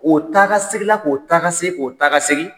O taa ka segi la, ko taa ka segi, k'o taa ka segi.